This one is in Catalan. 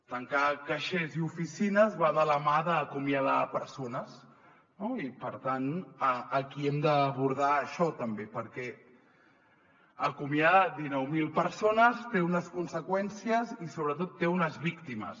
tancar caixers i oficines va de la mà d’acomiadar persones no i per tant aquí hem d’abordar això també perquè acomiadar dinou mil persones té unes conseqüències i sobretot té unes víctimes